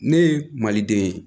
Ne ye maliden ye